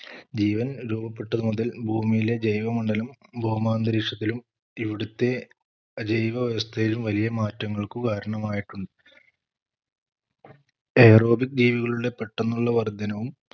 ജീവൻ രൂപപ്പെട്ടത് മുതൽ ഭൂമിയിലെ ജൈവ മണ്ഡലം ഭൗമാന്തരീക്ഷത്തിലും ഇവിടുത്തെ ജൈവ വ്യവസ്ഥയിലും വലിയ മാറ്റങ്ങൾക്കു കാരണമായിട്ടുണ്ട് Aerobic ജീവികളുടെ പെട്ടെന്നുള്ള വർധനവും